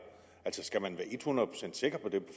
altså skal man være et hundrede procent sikker på det